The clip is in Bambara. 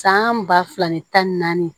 San ba fila ni tan ni naani